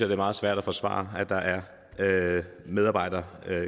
er meget svært at forsvare at der er medarbejdere